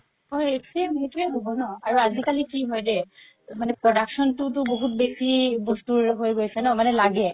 same সেইটো হ'ব ন আৰু আজি কালি কি হয় দেই production তোতো বহুত বেচি বস্তুবোৰ হৈ গৈছে ন মানে লাগে